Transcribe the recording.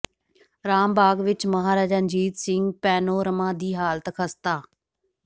ਰਾਮ ਬਾਗ ਵਿੱਚ ਮਹਾਰਾਜਾ ਰਣਜੀਤ ਸਿੰਘ ਪੈਨੋਰਮਾ ਦੀ ਹਾਲਤ ਖਸਤਾ